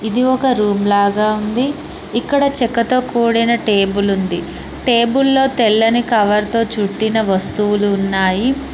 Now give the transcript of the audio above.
ఇది ఒక రూమ్ లాగా ఉంది ఇక్కడ చెక్కతో కూడిన టేబుల్ ఉంది టేబుల్ లో తెల్లని కవర్తో చుట్టిన వస్తువులు ఉన్నాయి.